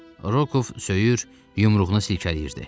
Rokov söyür, yumruğunu silkələyirdi.